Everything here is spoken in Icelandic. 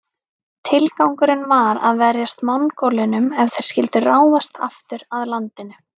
Tilgangurinn var að verjast Mongólunum ef þeir skyldu ráðast aftur að landinu.